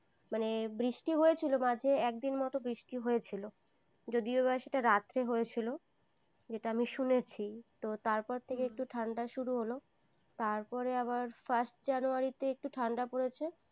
মানে বৃষ্টি হয়েছিল মাঝে, মাঝে একদিন মত বৃষ্টি হয়েছিল। যদিওবা সেটা রাত্রে হয়েছিল, যেটা আমি শুনেছি। তো তারপর থেকে একটু ঠান্ডা শুরু হল, তারপরে আবার first january তে একটু ঠান্ডা পড়েছে।